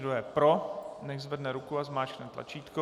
Kdo je pro, nechť zvedne ruku a zmáčkne tlačítko.